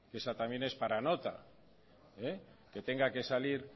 esa también es para nota que tenga que salir